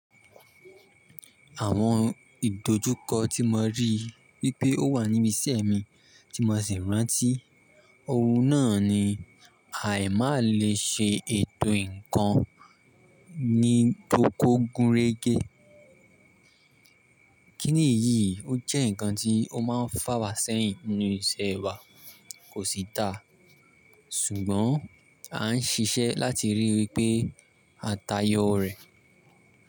Àwọn ìdojúkọ tí mo rí wípé ó wà níbi iṣẹ́ mi tí mo sì rántí ohun náà ni àìmá le ṣe ètò nǹkan ní tó kó gúnrégé. Kí nìyí, ó jẹ́ nǹkan tí ó máa ń fà wá sẹ́yìn nínú iṣẹ́ wa, kò sí ta, ṣùgbọ́n à ń ṣiṣẹ́ láti ríi wípé a tayọ rẹ̀